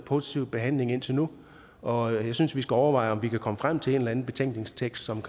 positive behandling indtil nu og jeg synes vi skal overveje om vi kan komme frem til en eller anden betænkningstekst som